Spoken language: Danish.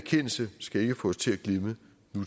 synes jeg